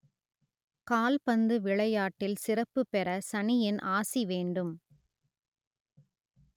கால்பந்து விளையாட்டில் சிறப்பு பெற சனியின் ஆசி வேண்டும்